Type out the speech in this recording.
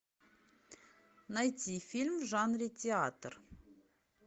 найти фильм в жанре театр